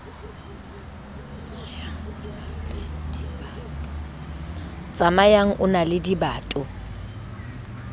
tsamayang o na le dibato